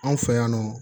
Anw fɛ yan nɔ